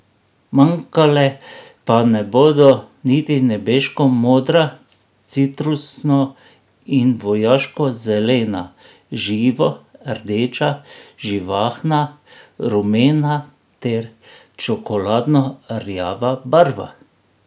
Manjkale pa ne bodo niti nebeško modra, citrusno in vojaško zelena, živo rdeča, živahna rumena ter čokoladno rjava barva.